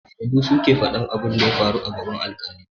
Shedu su ke faɗan abin da ya faru a gaban alƙali.